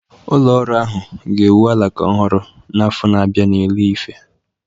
Ụlọ ọrụ ahụ ga-ewu alaka ọhụrụ n'afọ na-abịa n'Ile-Ife